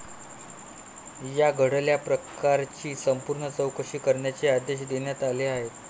या घडल्या प्रकाराची संपूर्ण चौकशी करण्याचे आदेश देण्यात आले आहेत.